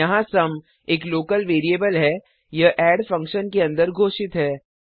यहाँ सुम एक local variable है यह एड फंक्शन के अंदर घोषित है